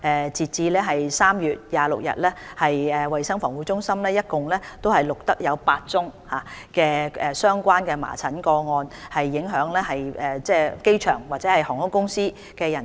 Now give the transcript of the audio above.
截至3月26日，衞生防護中心一共錄得8宗相關的麻疹個案，影響機場或航空公司的人士。